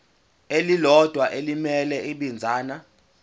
elilodwa elimele ibinzana